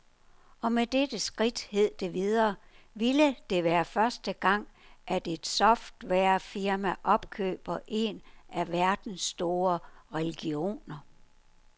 Og med dette skridt, hed det videre, ville det være første gang, at et softwarefirma opkøber en af verdens store religioner.